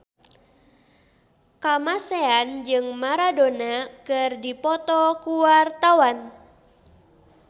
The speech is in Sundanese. Kamasean jeung Maradona keur dipoto ku wartawan